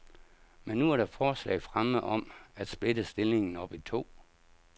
Men nu er der forslag fremme om at splitte stillingen op i to.